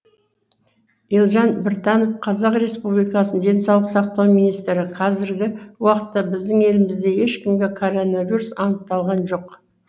елжан біртанов қазақ республикасы денсаулық сақтау министрі қазіргі уақытта біздің елімізде ешкімде коронавирус анықталған жоқ